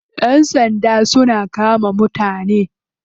Yan sanda suna kama mutane.